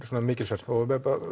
mikilsverð og